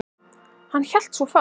Hann hélt svo fast.